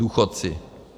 Důchodci.